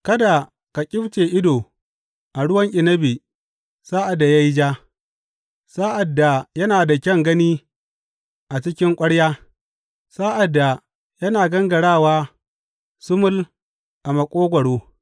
Kada ka ƙyifce ido a ruwan inabi sa’ad da ya yi ja, sa’ad da yana da kyan gani a cikin ƙwarya, sa’ad da yana gangarawa sumul a maƙogwaro!